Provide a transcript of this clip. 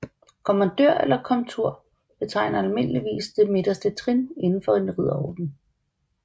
Kommandør eller komtur betegner almindeligvis det midterste trin inden for en ridderorden